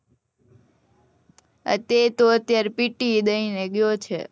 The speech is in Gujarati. તે તો અત્યારે PTE દઈ ને ગયો છે